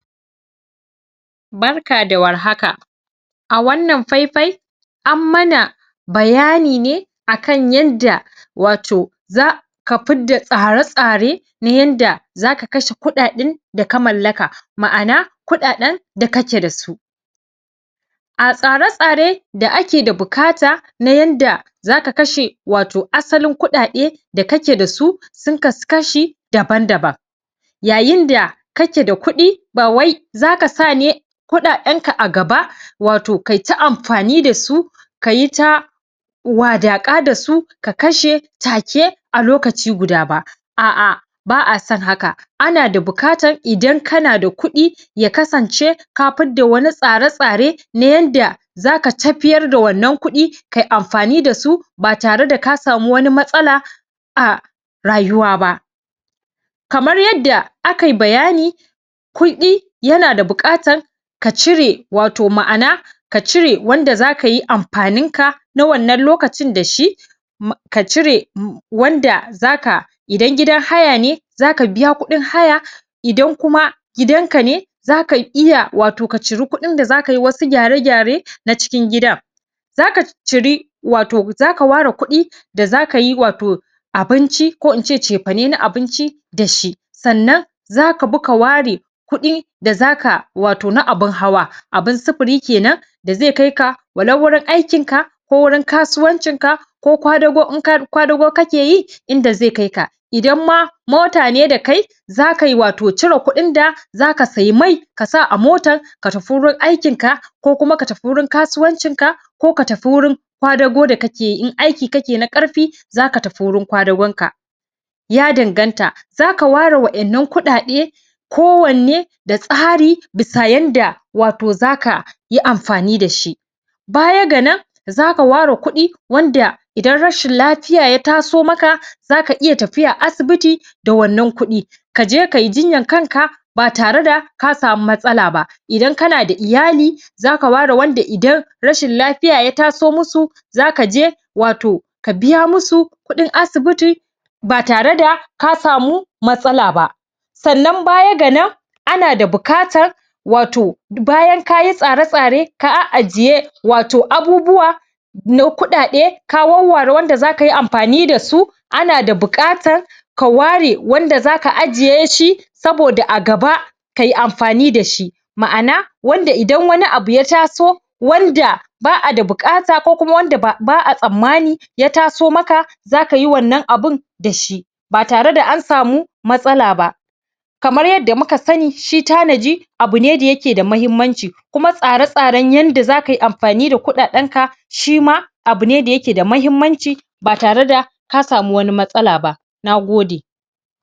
Barka da warhaka a wannan faifai an mana bayani ne akan yanda wato za ka fidda tsare-tsare na yanda zaka kashe kuɗaɗen da ka mallaka ma'ana kuɗaɗen da kake da su a tsare-tsare da ake da bukata na yanda zaka kashe wato asalin kuɗaɗe da kake da su sun kasu kashi daban-daban yayinda kake da kuɗi ba wai zaka sa ne kuɗaɗenka a gaba wato kayita amfani da su kayita wadaƙa dasu ka kashe take a lokaci guda ba a'a ba'a san haka ana da bukatan idan kana da kuɗi ya kasance ka fidda wani tare-tsare na yanda zaka tafiyar da wannan kuɗi kayi amfani da su ba tare da ka samu wani matsala a rayuwa ba kamar yadda aka yi bayani kuɗi yana da buƙatan ka cire wato ma'ana ka cire wanda zaka yi amfaninka na wannan lokacin da shi? ka cire? wanda za ka idan gidan haya ne za ka biya kuɗin haya idan kuma gidanka ne za ka iya watoo ka ciri kuɗin da za ka yi wasu gyare-gyare na cikin gidan za ka ciri wato za ka ware kuɗi da za ka yi wato abinci ko in ce cefane na abinci da shi sannan za ka bi ka ware kuɗi da za ka wato na abin hawa abin sifiri kenan da zai kai ka walau wurin aikinka ko wurin kasuwancinka ko kwadago in ka kwadago kake yi inda zai kaika idan ma mota ne dakai za ka yi wato cire kuɗin da za ka sayi mai ka sa a motan ka tafi wurin aikinka ko kuma ka tafi wurin kasuwancinka ko tafi wurin kadago da kake yi in aiki kake na ƙarfi za ka tafi wurin kwadagonka ya danganta za ka ware wa'innan kuɗaɗe ko wanne da tsari bisa yanda wato za ka yi amfani da shi baya ga nan za ka ware kuɗi wanda idan rashin lafiya ya taso maka za ka iya tafiya asibiti da wannan kuɗi ka je ka yi jinyan kanka ba tare da ka samu matsala ba idan kana da iyali za ka ware wanda idan rashin lafiya ya taso musu za ka je wato ka biya musu kuɗin asibiti ba tare da ka samu matsala ba sannan baya ga nan ana da bukatan wato bayan ka yi tsare-tsare ka a'ajiye wato abubuwa na kuɗaɗe ka wawware wanda za ka yi amfani da su ana da buƙatan ka ware wanda za ka ajiye shi saboda a gaba ka yi amfani da shi ma'ana wanda idan wani abu ya taso wanda ba'a da buƙata ko kuma wanda ba ba'a tsamani ya taso maka za ka yi wannan abun da shi ba tare da an samu matsala ba kamar yadda muka sani shi tanaji abu ne da yake da mahimmanci kuma tsare-tsaren yanda za ka yi amfani da kuɗaɗenka shima abune da yake da mahimmanci ba tare da ka samu wani matsala ba na gode.